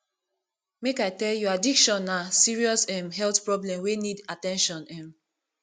make i tell you addiction na serious um health problem wey need at ten tion um